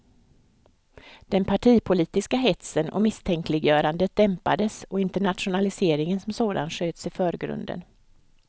Den partipolitiska hetsen och misstänkliggörandet dämpades och internationaliseringen som sådan sköts i förgrunden.